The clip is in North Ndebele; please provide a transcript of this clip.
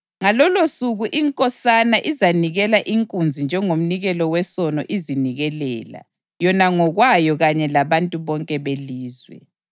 Ngalolosuku inkosana izanikela inkunzi njengomnikelo wesono izinikelela yona ngokwayo kanye labantu bonke belizwe.